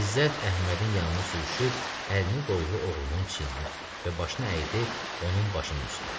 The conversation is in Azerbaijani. İzzət Əhmədin yanına sürüşüb əlini qoydu oğlunun çiyninə və başını əydi onun başının üstə.